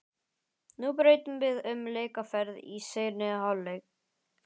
Nú breytum við um leikaðferð í seinni hálfleik.